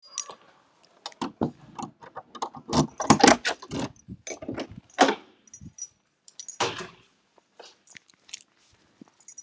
Guðrún: Hvernig er ástandið núna?